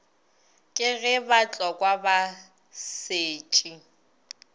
ke ge batlokwa ba setše